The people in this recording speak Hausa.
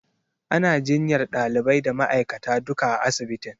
Ana jinyar ɗalibai da ma'aikata duka a asibitin.